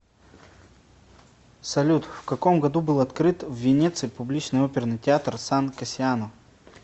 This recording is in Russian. салют в каком году был открыт в венеции публичный оперный театр сан кассиано